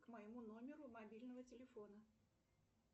к моему номеру мобильного телефона